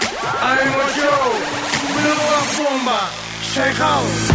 ай эм очоу шайқал